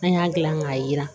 An y'a dilan k'a jira